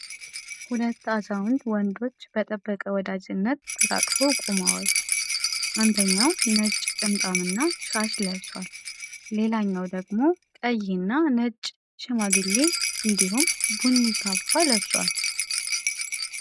ሁለት አዛውንት ወንዶች በጠበቀ ወዳጅነት ተቃቅፈው ቆመዋል። አንደኛው ነጭ ጥምጣምና ሻሽ ለብሷል፣ ሌላኛው ደግሞ ቀይና ነጭ ሽማግሌ እንዲሁም ቡኒ ካባ ለብሷል።